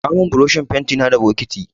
Kawo min burushin fentina da bokiti.